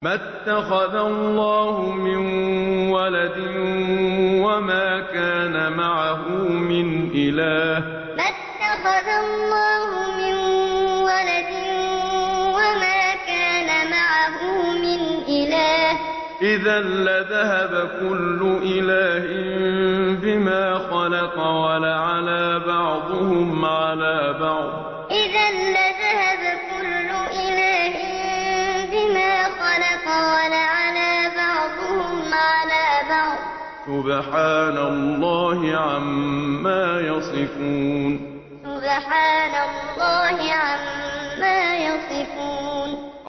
مَا اتَّخَذَ اللَّهُ مِن وَلَدٍ وَمَا كَانَ مَعَهُ مِنْ إِلَٰهٍ ۚ إِذًا لَّذَهَبَ كُلُّ إِلَٰهٍ بِمَا خَلَقَ وَلَعَلَا بَعْضُهُمْ عَلَىٰ بَعْضٍ ۚ سُبْحَانَ اللَّهِ عَمَّا يَصِفُونَ مَا اتَّخَذَ اللَّهُ مِن وَلَدٍ وَمَا كَانَ مَعَهُ مِنْ إِلَٰهٍ ۚ إِذًا لَّذَهَبَ كُلُّ إِلَٰهٍ بِمَا خَلَقَ وَلَعَلَا بَعْضُهُمْ عَلَىٰ بَعْضٍ ۚ سُبْحَانَ اللَّهِ عَمَّا يَصِفُونَ